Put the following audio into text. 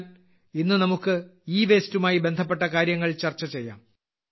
എന്നാൽ ഇന്ന് നമുക്ക് ഇവേസ്റ്റുമായി ബന്ധപ്പെട്ട കാര്യങ്ങൾ ചർച്ച ചെയ്യാം